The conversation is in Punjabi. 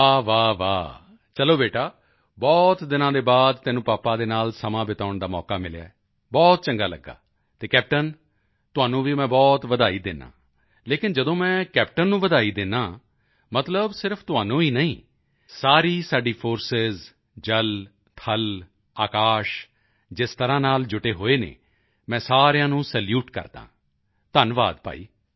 ਵਾਹ ਵਾਹ ਵਾਹ ਚਲੋ ਬੇਟਾ ਬਹੁਤ ਦਿਨਾਂ ਦੇ ਬਾਅਦ ਤੈਨੂੰ ਪਾਪਾ ਦੇ ਨਾਲ ਸਮਾਂ ਬਿਤਾਉਣ ਦਾ ਮੌਕਾ ਮਿਲਿਆ ਹੈ ਬਹੁਤ ਚੰਗਾ ਲੱਗਿਆ ਅਤੇ ਕੈਪਟੇਨ ਤੁਹਾਨੂੰ ਵੀ ਮੈਂ ਬਹੁਤ ਵਧਾਈ ਦਿੰਦਾ ਹਾਂ ਲੇਕਿਨ ਜਦੋਂ ਮੈਂ ਕੈਪਟੇਨ ਨੂੰ ਵਧਾਈ ਦਿੰਦਾ ਹਾਂ ਮਤਲਬ ਸਿਰਫ ਤੁਹਾਨੂੰ ਹੀ ਨਹੀਂ ਸਾਰੀ ਸਾਡੀ ਫੋਰਸਿਸ ਜਲ ਥਲ ਆਕਾਸ਼ ਜਿਸ ਤਰ੍ਹਾਂ ਨਾਲ ਜੁਟੇ ਹੋਏ ਹਨ ਮੈਂ ਸਾਰਿਆਂ ਨੂੰ ਸੈਲੂਟ ਕਰਦਾ ਹਾਂ ਧੰਨਵਾਦ ਭਾਈ